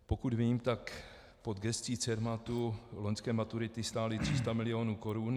Pokud vím, tak pod gescí Cermatu loňské maturity stály 300 milionů korun.